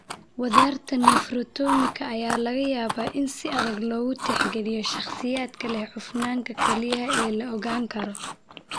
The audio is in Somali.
Wadarta nephrectomika ayaa laga yaabaa in si adag loogu tixgeliyo shakhsiyaadka leh cufnaanta kelyaha ee la ogaan karo.